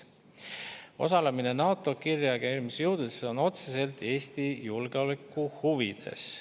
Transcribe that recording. Osalemine NATO kiirreageerimisjõududes on otseselt Eesti julgeoleku huvides.